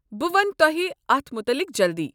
بہٕ ونہٕ تۄہہ اتھ متعلق جلدی۔